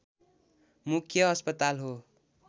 मुख्य अस्पताल हो